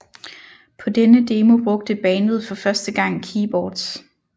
På denne demo brugte bandet for første gang keyboards